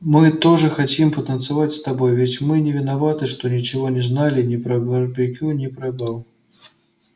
мы тоже хотим потанцевать с тобой ведь мы не виноваты что ничего не знали ни про барбекю ни про бал